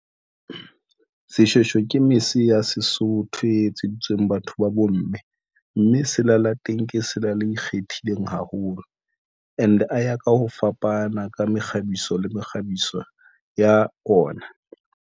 Seshweshwe ke mese ya Sesotho etseditsweng batho ba bomme mme selala teng ke sela le ikgethileng haholo, and ho ya ka ho fapana ka mekgabiso le mekgabiso ya ona.